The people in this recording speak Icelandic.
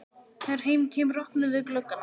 Þegar heim kemur opnum við gluggana.